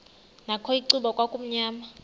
nakho icuba kwakumnyama